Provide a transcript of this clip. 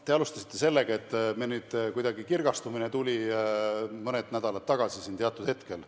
Te alustasite sellega, et meil tuli nüüd kuidagi mingi kirgastumine mõned nädalad tagasi siin teatud hetkel.